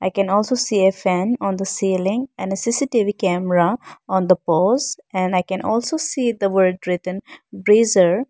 i can also see a fan on the ceiling and a C_C_T_V camera on the poles and i can also see the word written breezer.